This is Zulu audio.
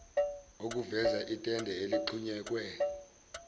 okuveza itende eligxunyekwe